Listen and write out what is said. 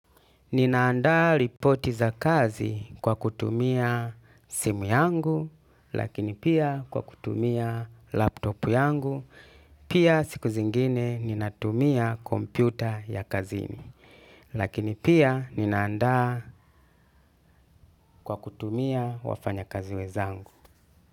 Ninaandaa ripoti za kazi kwa kutumia simu yangu, lakini pia kwa kutumia laptopu yangu, pia siku zingine ninatumia kompyuta ya kazini, lakini pia ninaandaa kwa kutumia wafanya kazi wenzangu.